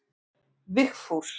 Vigfús